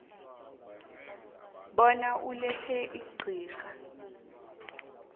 bona ulethe iqhinga